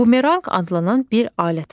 Bumeranq adlanan bir alət var.